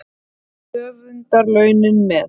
Og höfundarlaunin með.